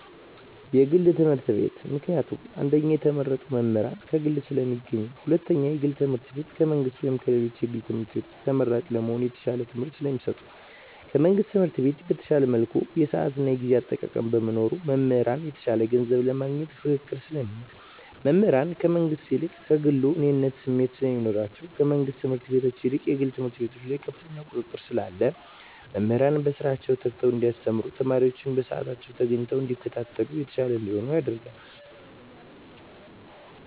የግል ትምህርት ቤት። ምክንያቱም አንደኛ የተመረጡ መምህራን ከግል ስለሚገኙ ሁለተኛ የግል ትምህርት ቤቱ ከመንግስት ወይም ከሌሎች የግል ትምህርት ቤቶች ተመራጭ ለመሆን የተሻለ ትምህርት ስለሚሰጡ። ከመንግስት ትምህርት ቤት በተሻለ መልኩ የስአት የጊዜ አጠቃቀም በመኖሩ። መምህራን የተሻለ ገንዘብ ለማግኘት ፉክክር ስለሚኖር። መምህራን ከመንግስት ይልቅ ከግሉ የእኔነት ስሜት ስለሚኖራቸዉ። ከመንግስት ትምህርት ቤት ይልቅ የግል ትምህርት ቤት ከፍተኛ ቁጥጥር ስላለ መምህራን በስራቸዉ ተግተዉ እንዲያስተምሩ ተማሪወችም በስአታቸዉ ተገኝተዉ እንዲከታተሉ የተሻለ እንዲሆን ያደርጋል።